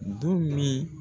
Du min